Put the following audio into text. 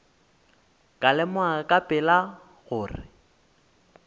ka lemoga ka pela gore